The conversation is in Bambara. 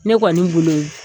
Ne kɔni bolo